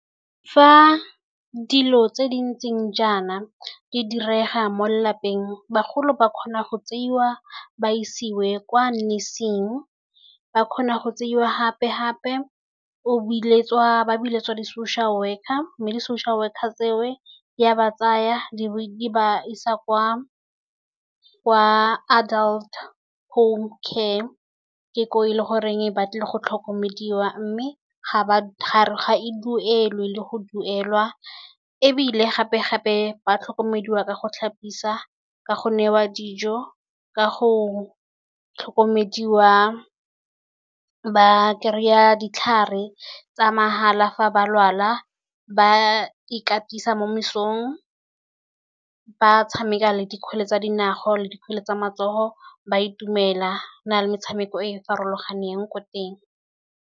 Fa dilo tse di ntseng jaana di direga mo lelapeng, bagolo ba kgona go tseiwa ba isiwe kwa nursing. Ba kgona go tseiwa gape-gape ba biletswa di-social worker. Mme di-social worker tse o di a ba tsaya, di ba isa kwa adult home care, ke ko e le gore ba tlile go tlhokomediwa, mme ga e duelwe le go duelwa. Ebile gape-gape ba tlhokomediwa ka go tlhapisiwa, ka go newa dijo, ka go tlhokomediwa, ba kry-a ditlhare tsa mahala fa ba lwala, ba ikatisa mo mesong, ba tshameka le dikgwele tsa dinao le tsa matsogo, ba itumela le metshameko e e farologaneng ko teng.